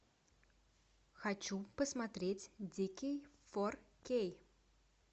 хочу посмотреть дикий фор кей